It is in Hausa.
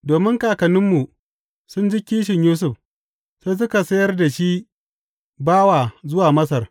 Domin kakanninmu sun ji kishin Yusuf, sai suka sayar da shi bawa zuwa Masar.